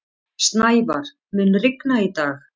Snævar, mun rigna í dag?